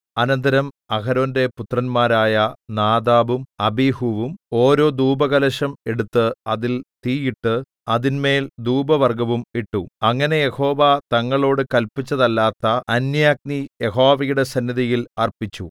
അനന്തരം അഹരോന്റെ പുത്രന്മാരായ നാദാബും അബീഹൂവും ഓരോ ധൂപകലശം എടുത്ത് അതിൽ തീ ഇട്ട് അതിന്മേൽ ധൂപവർഗ്ഗവും ഇട്ടു അങ്ങനെ യഹോവ തങ്ങളോട് കല്പിച്ചതല്ലാത്ത അന്യാഗ്നി യഹോവയുടെ സന്നിധിയിൽ അർപ്പിച്ചു